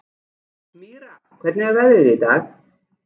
Mýra, hvernig er veðrið í dag?